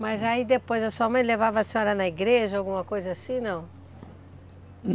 Mas aí depois, a sua mãe levava a senhora na igreja, alguma coisa assim, não?